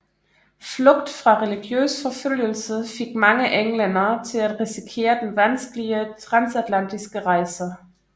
Flugt fra religiøs forfølgelse fik mange englændere til at risikere den vanskelige transatlantiske rejse